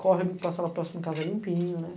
Corre para sala próxima, casa limpinha, né?